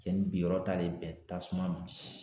Cɛnni binyɔrɔ tale bɛn tasuma ma.